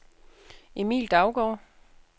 Emil Daugaard